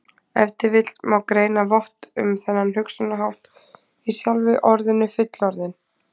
Ef til vill má greina vott um þennan hugsunarhátt í sjálfu orðinu fullorðinn.